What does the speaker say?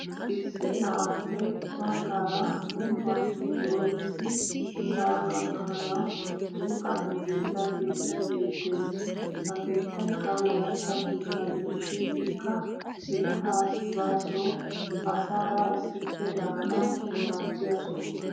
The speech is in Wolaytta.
Issi na'aappe baggaara gumbbuwaappe doomisi sa'aa gakkanawu buuxan giigida keettay beettes. Ha keettaykka wolaytta keettaa gidishin ikka kettaa as basoo asaara issippe daanawu maaddiya soho.